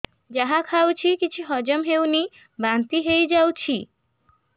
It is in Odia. ଯାହା ଖାଉଛି କିଛି ହଜମ ହେଉନି ବାନ୍ତି ହୋଇଯାଉଛି